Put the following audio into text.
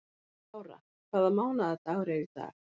Lára, hvaða mánaðardagur er í dag?